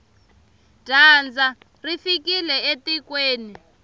dyandza ri fikile etikweni